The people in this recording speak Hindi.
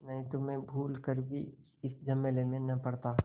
नहीं तो मैं भूल कर भी इस झमेले में न पड़ता